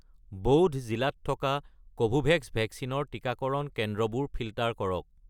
বৌধ জিলাত থকা কোভোভেক্স ভেকচিনৰ টিকাকৰণ কেন্দ্ৰবোৰ ফিল্টাৰ কৰক